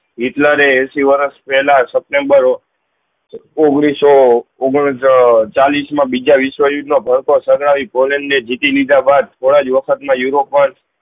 હિટલરે એશી વર્ષ પેહલા સેપ્ત્મ્બેર ઓઘ્નીશ સૌ ઓગન ચાલીસ માં બીજા વિસ્વ યુદ્ધ નો કોલેજ ને જીતી લીધા બાદ થોડાક વખત માં ઉરોપ માં જ